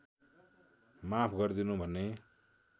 माफ गर्दिनु भन्ने